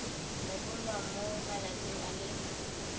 rebolwa mo malatsing a le